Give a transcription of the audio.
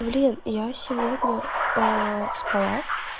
блин я сегодня спала